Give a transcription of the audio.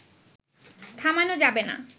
থামানো যাবে না